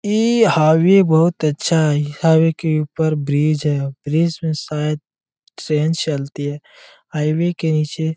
ये हाईवे बहोत अच्छा है ये हाईवे के उपर ब्रिज है ब्रिज में शायद ट्रैन चलती है हाईवे के निचे --